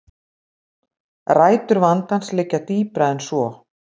Rætur vandans liggja dýpra en svo